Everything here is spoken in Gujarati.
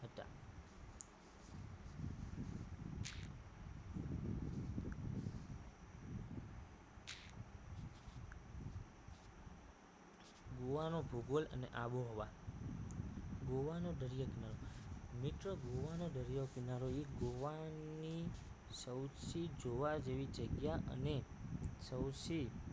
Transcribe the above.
ગોવા નો ભૂગોળ અને આબોહવા ગોવા નો દરિયા કિનારો મિત્રો ગોવાનો દરિયા કિનારો એ ગોવાની સૌથી જોવા જેવી જગ્યા અને સૌથી